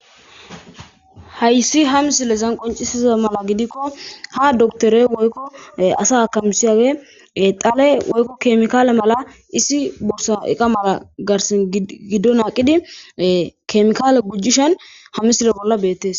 Haysi ha misilezan qonccissidaba gidikko ha doktheree woykko asa hakkamissiyaagee xalee woykko keemiikaale malaa issi iqa borssa mala giddo naaqqidi keemiikaale gujjishen ha misile bolla beeththees.